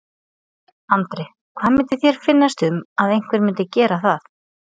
Andri: Hvað myndi þér finnast um að einhver myndi gera það?